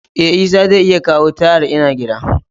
Eh, Isah zai iya kawo tayal, n'na gida.